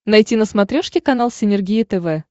найти на смотрешке канал синергия тв